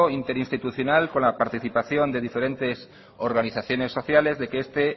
interinstitucional con la participación de diferentes organizaciones sociales de que este